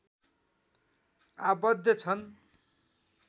आबद्ध छन्